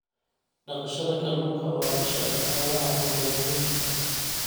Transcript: Dhaqashada kalluunka waa isha dhaqaalaha ee magaalooyinka.